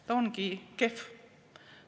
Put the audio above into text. Ta ongi kehv.